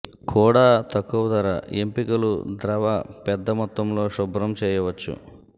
కూడా తక్కువ ధర ఎంపికలు ద్రవ పెద్ద మొత్తంలో శుభ్రం చేయవచ్చు